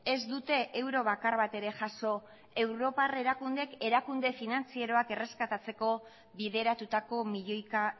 ez dute euro bakar bat ere jaso europar erakundeek erakunde finantzieroak erreskatatzeko bideratutako milioika